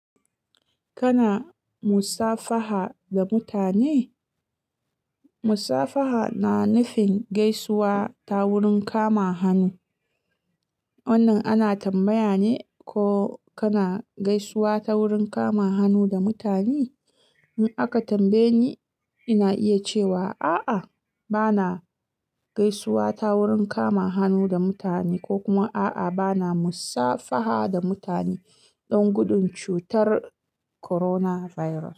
Kana musafaha da mutane? Musafaha na nufin gaisuwa ta wurin kama hannu. Wannan ana tambaya ne ko kana gaisuwa ta wurin kama hannu da mutane. In aka tambaye ni, ina iya cewa, a'a, bana gaisuwa ta wurin kama hannu da mutane ko kuma a'a, bana musafaha da mutane don gudun cutar coronavirus.